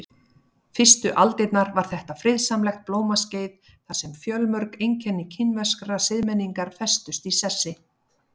Fyrstu aldirnar var þetta friðsamlegt blómaskeið þar sem fjölmörg einkenni kínverskrar siðmenningar festust í sessi.